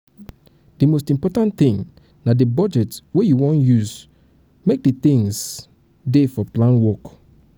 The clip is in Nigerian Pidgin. di most important thing na di budget wey you wan use make di things wey dey for plan work